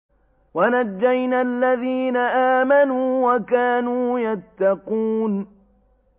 وَنَجَّيْنَا الَّذِينَ آمَنُوا وَكَانُوا يَتَّقُونَ